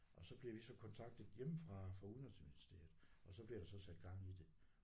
Og så bliver vi så kontaktet hjemmefra fra udenrigsministeriet og så bliver der så sat gang i det